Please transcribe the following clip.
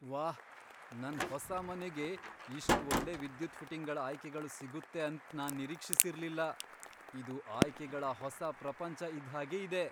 ವಾಹ್, ನನ್ ಹೊಸ ಮನೆಗೆ ಇಷ್ಟ್ ಒಳ್ಳೆ ವಿದ್ಯುತ್ ಫಿಟ್ಟಿಂಗ್ಗಳ್ ಆಯ್ಕೆಗಳು ಸಿಗುತ್ತೆ ಅಂತ್ ನಾನ್ ನಿರೀಕ್ಷಿಸಿರ್ಲಿಲ್ಲ, ಇದು ಆಯ್ಕೆಗಳ ಹೊಸ ಪ್ರಪಂಚ ಇದ್ದ್ ಹಾಗೆ ಇದೆ!